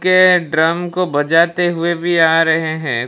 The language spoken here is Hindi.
के ड्रम को बजाते हुए भी आ रहे हैं।